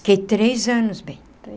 Fiquei três anos bem.